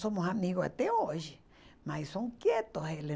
Somos amigos até hoje, mas são quietos eles.